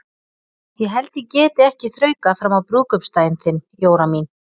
Ég held ég geti ekki þraukað fram á brúðkaupsdaginn þinn, Jóra mín.